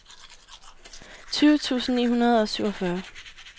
tyve tusind ni hundrede og syvogfyrre